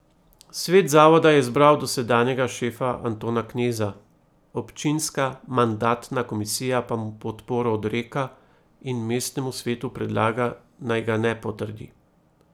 Svet zavoda je izbral dosedanjega šefa Antona Kneza, občinska mandatna komisija pa mu podporo odreka in mestnemu svetu predlaga, naj ga ne potrdi.